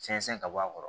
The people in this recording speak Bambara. Sɛnsɛn ka bɔ a kɔrɔ